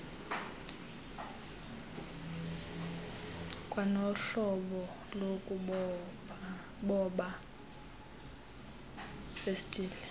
kwanohlobo lokuboba festile